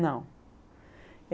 Não.